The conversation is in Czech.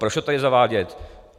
Proč to tady zavádět?